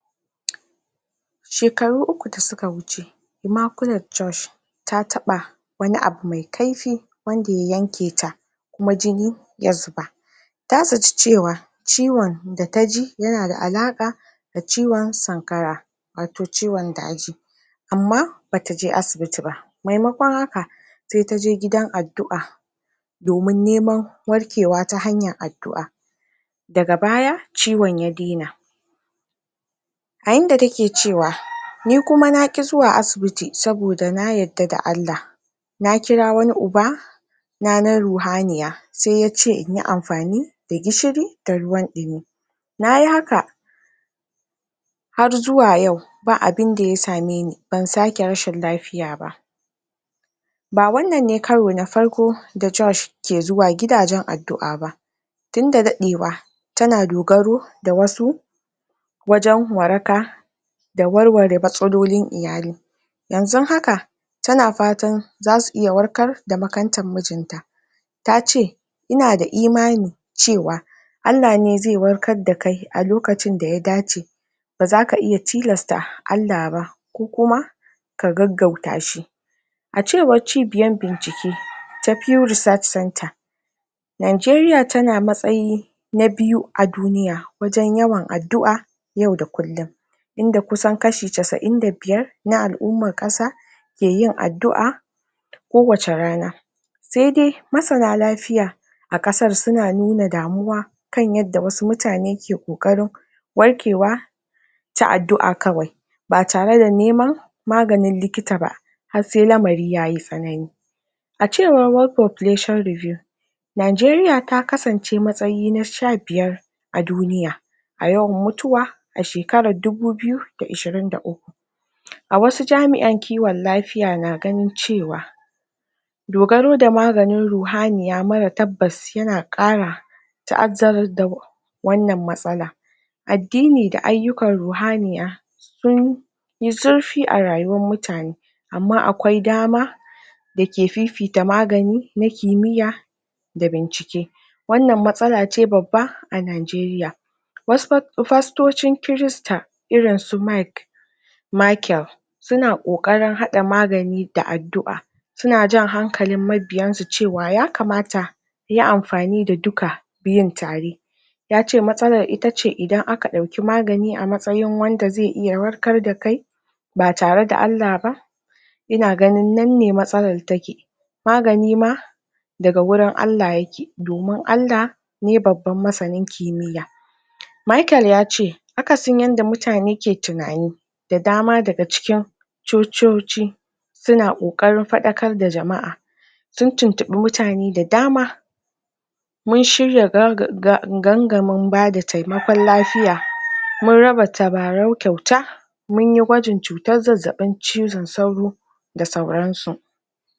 Shekaru uku da suka wuce Emaculate Josh ta taɓa wani abu mai kaifi wanda ya yanke ta kuma jini ya zuba. Ta zaci cewa ciwon da ta ji yana da alaƙa ciwon sanƙara wato ciwon daji amma ba ta je asibiti ba maimakon haka se ta je gidan addu'a domin neman warkewa ta hanyar addu'a. Daga baya ciwon ya dena a inda take cewa ni kuma na ƙi zuwa asibiti saboda na yarda da Allah. Na kira wani ubana na ruhaniya se ya ce in yi amfani da gishiri da ruwan ɗumi. Na yi haka har zuwa yau ba abinda ya same ni ban sake rashin lafiya ba. Ba wannan ne karo na farko da Josh ke zuwa gidajen addu'a ba tunda daɗewa tana dogaro da wasu wajen waraka da warware matsalolin iyali. Yanzun haka tana fatan za su iya warkar da makantan mijinta. Ta ce “ina da imani cewa Allah ne ze warkar da kai a lokacin da ya dace. Ba za ka iya tilasta Allah ba ko kuma ka gaugauta shi.” A cewar cibiyan bincike ta Pure Research Center, Nigeria tana matsayi na biyu a duniya wajen yawan addu'a yau da kullum inda kusan kashi casa'in da biyar na al'umman ƙasa ke yin addu'a kowace rana. Sai dai masana lafiya a ƙasar suna nuna damuwa kan yadda wasu mutane ke ƙoƙarin warkewa ta addu'a kawai ba tare da neman maganin likita ba har sai lamari ya yi tsanani. A cewar World Population Review, Nigeria ta kasance matsayi na sha biyar a duniya a yawan mutuwa a shekarar dubu biyu da ishirin da uku. A wasu jami'an kiwon lafiya na gani cewa dogaro da maganin ruhaniya mara tabbas yana ƙara ta'azzarar da wannan matsala. Addini da ayyukan ruhaniya sun yi zurfi a rayuwan mutane amma akwai dama da ke fifita magani na kimiyya da bincike. Wannan matsala ce babba a Nigeria wasu fastocin Kirista irin su Mike Michael suna ƙoƙarin haɗa magani da addu'a suna jan hankalin mabiyansu cewa ya kamata su yi amfani da duka biyun tare. Ya ce “matsalar ita ce idan aka ɗauki magani a matsayin wanda zai iya warkar da kai ba tare da Allah ba ina ganin nan ne matsalar take. Magani ma daga gurin Allah yake domin Allah ne babban masanin kimiyya.” Michael ya ce akasin yanda mutane ke tunani da dama daga cikin cococi suna ƙoƙarin faɗakar da jama'a. Sun tintiɓi mutane da dama “Mun shirya gangamin bada taimakon lafiya, mun raba tabarau kyauta, mun yi gwajin cutar zazzaɓin cizon sauro da sauransu.”